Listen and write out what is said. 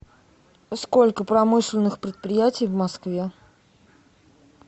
сколько промышленных предприятий в москве